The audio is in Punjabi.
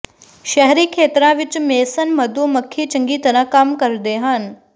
ਸ਼ਹਿਰੀ ਖੇਤਰਾਂ ਵਿੱਚ ਮੇਸਨ ਮਧੂ ਮੱਖੀ ਚੰਗੀ ਤਰ੍ਹਾਂ ਕੰਮ ਕਰਦੇ ਹਨ